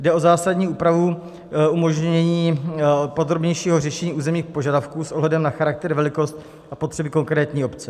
Jde o zásadní úpravu umožnění podrobnějšího řešení územních požadavků s ohledem na charakter, velikost a potřeby konkrétní obce.